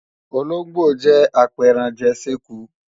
Ológbò jẹ́ apẹranjè séku